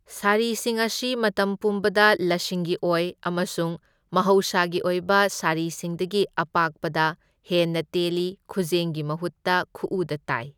ꯁꯥꯔꯤꯁꯤꯡ ꯑꯁꯤ ꯃꯇꯝ ꯄꯨꯝꯕꯗ ꯂꯁꯤꯡꯒꯤ ꯑꯣꯏ ꯑꯃꯁꯨꯡ ꯃꯍꯧꯁꯥꯒꯤ ꯑꯣꯏꯕ ꯁꯥꯔꯤꯁꯤꯡꯗꯒꯤ ꯑꯄꯥꯛꯄꯗ ꯍꯦꯟꯅ ꯇꯦꯜꯂꯤ, ꯈꯨꯖꯦꯡꯒꯤ ꯃꯍꯨꯠꯇ ꯈꯨꯎꯗ ꯇꯥꯏ꯫